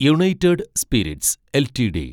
United Spirits LTD